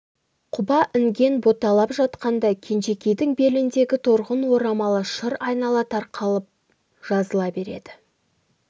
құба інген боталап жатқанда кенжекейдің беліндегі торғын орамалы шыр айнала тарқатылып жазыла береді